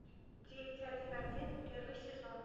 девять один один первый сезон